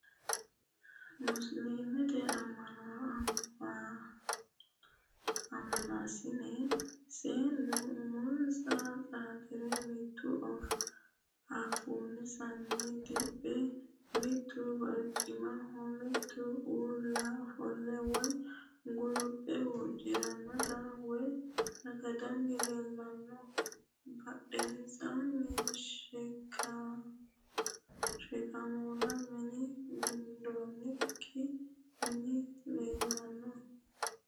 Musiliimete ammanaasine seennu umonsa xaaxire mitu afoonsano diphe mitu barcimaho mitu uulla ofolle woyi guluphe huuccatto woyi saganni leellanno. Badhensaanni sheekkamunna minne gundoonnikki mini leellanno.